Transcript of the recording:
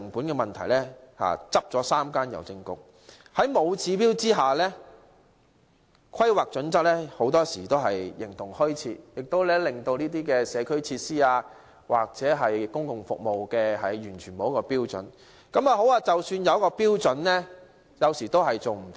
在沒有指標的情況下，《規劃標準》很多時候形同虛設，這些社區設施或公共服務完全沒有標準，即使有標準，當局有時也無法遵照標準。